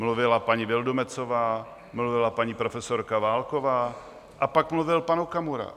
Mluvila paní Vildumetzová, mluvila paní profesorka Válková a pak mluvil pan Okamura.